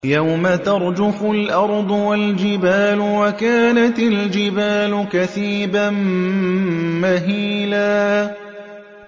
يَوْمَ تَرْجُفُ الْأَرْضُ وَالْجِبَالُ وَكَانَتِ الْجِبَالُ كَثِيبًا مَّهِيلًا